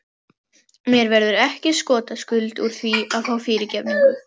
Mér verður ekki skotaskuld úr því að fá fyrirgefningu.